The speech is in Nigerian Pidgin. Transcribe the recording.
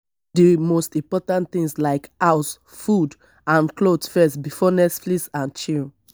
put di most important things like house food and cloth first before netflix and chill